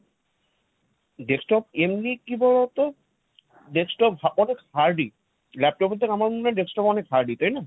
desktop এমনি কি বলতো, desktop অনেক hardy। laptop এর থেকে আমার মনে হয় desktop অনেক hardy তাই না?